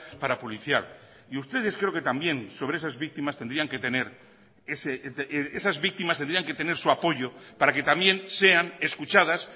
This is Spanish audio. parapolicial y ustedes creo que también sobre esas víctimas tendrían que tener esas víctimas tendrían que tener su apoyo para que también sean escuchadas